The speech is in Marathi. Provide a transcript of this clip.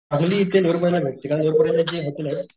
चांगली इथे मुंबईला भेटते कारण मुंबई ला जे हॉटेलेत,